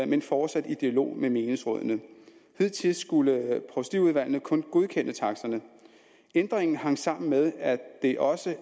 men fortsat i dialog med menighedsrådene hidtil skulle provstiudvalgene kun godkende taksterne ændringen hang sammen med at det også